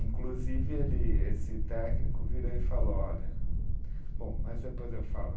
Inclusive, ele esse técnico virou e falou, olha. Bom, mas depois eu falo